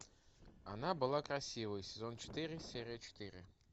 она была красивой сезон четыре серия четыре